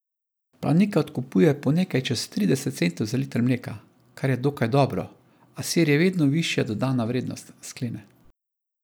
Planika odkupuje po nekaj čez trideset centov za liter mleka, kar je dokaj dobro, a sir je vedno višja dodana vrednost, sklene.